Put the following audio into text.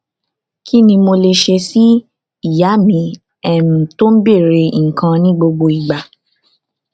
kí ni mo lè ṣe sí ìyá mi um tó ń bèèrè nǹkan ní gbogbo ìgbà